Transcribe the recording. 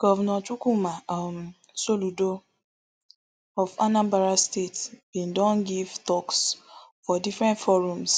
govnor chukwuma um soludo of anambra state bin don give toks for different forums